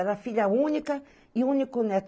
Ela filha única e único neto.